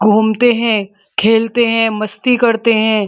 घूमते हैं खेलते हैं मस्ती करते हैं।